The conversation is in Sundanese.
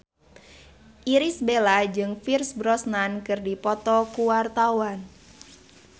Irish Bella jeung Pierce Brosnan keur dipoto ku wartawan